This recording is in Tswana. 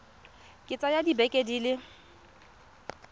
ka tsaya dibeke di le